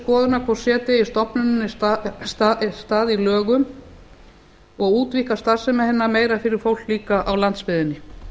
til skoðunar hvort eigi stofnuninni stað í lögum og útvíkka starfsemi hennar meira fyrir fólk líka á landsbyggðinni